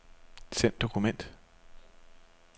Send dokument.